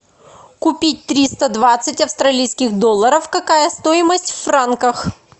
купить триста двадцать австралийских долларов какая стоимость в франках